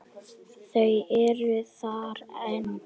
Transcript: Þau eru þar ein.